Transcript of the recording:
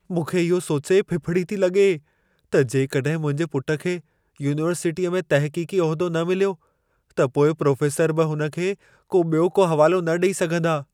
मूंखे इहो सोचे फिफिड़ी थी लॻे, त जेकॾहिं मुंहिंजे पुट खे यूनिवर्सिटीअ में तहक़ीक़ी उहिदो न मिलियो, त पोइ प्रोफ़ेसर बि हुन खे को ॿियो को हवालो न ॾई सघंदा।